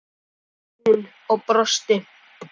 sagði hún og brosti.